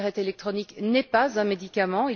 La cigarette électronique n'est pas un médicament.